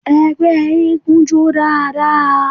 Ẹgbẹ́ eégún jó dáadáa.